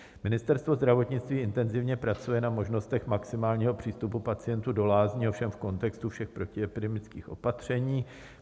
Ministerstvo zdravotnictví intenzivně pracuje na možnostech maximálního přístupu pacientů do lázní, ovšem v kontextu všech protiepidemických opatření.